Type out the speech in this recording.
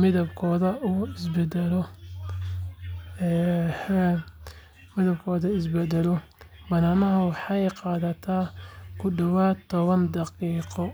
midabkoodu is beddelo, badanaa waxay qaadataa ku dhowaad toban daqiiqo.